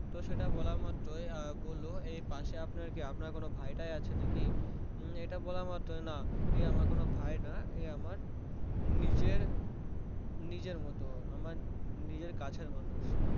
তো সেটা বলা মাত্রই বললো এই পাশেই আপনার কি আপনার কোনো ভাই টাই আছে নাকি এটা বলা মাত্রই না এ আমার কোনো ভাই না এ আমার নিজের নিজের মতো আমার নিজের কাছের মানুষ